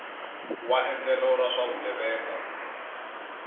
wa endlelo ra swa vugevenga